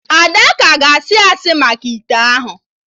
Ada ka ga asị asị maka ite ahụ